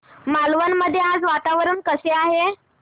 मालवण मध्ये आज वातावरण कसे आहे